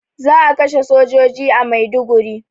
Za a kashe sojoji a Maiduguri